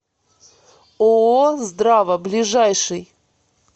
ооо здрава ближайший